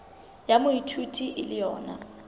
ya moithuti e le yona